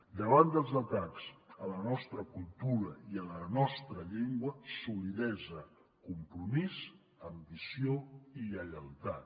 davant dels atacs a la nostra cultura i a la nostra llengua solidesa compromís ambició i lleialtat